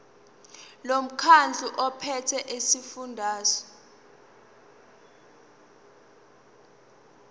lomkhandlu ophethe esifundazweni